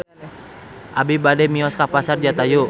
Abi bade mios ka Pasar Jatayu